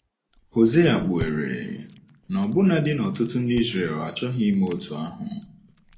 Hosea kpughere na ọbụnadi ọtụtụ ndị Izrel achọghị ime otú ahụ.